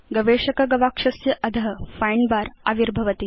गवेषक गवाक्षस्य अध find bar आविर्भवति